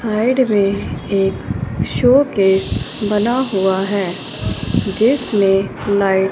side मे एक showcase बना हुआ है जिसमें लाइट --